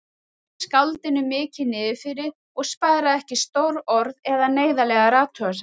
Var skáldinu mikið niðrifyrir og sparaði ekki stór orð eða neyðarlegar athugasemdir.